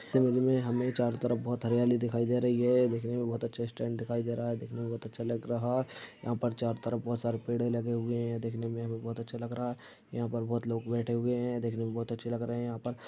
image में हमें चारों तरफ बहुत हरियाली दिखाई दे रही है देखने में बहुत अच्छा स्टैन्ड दिखाई दे रहा है देखने में बहुत अच्छा लग रहा यहां पर चारों तरफ बहुत सारे पेड़ लगे हुए हैं देखने में बहुत अच्छा लग रहा है यहां पर बहुत लोग बैठे हुए हैं देखने में बहुत अच्छे लग रहे हैं यहां पर--